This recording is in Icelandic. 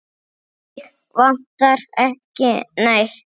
Mig vantar ekki neitt.